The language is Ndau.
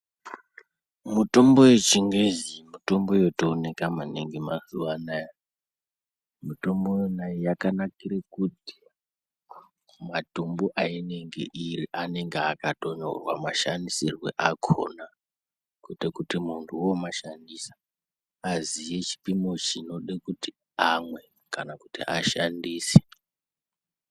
Mutombo yechingezi mitombo yotooneka maningi mazuva anaya, mitombo yona iyi yakanakire kuti matumbu ainenge iri anenge akatonyorwa mashandisirwo akona kuite kuti muntu womashandisa aziye chipimo chinode kuti amwe kana kuti ashandise.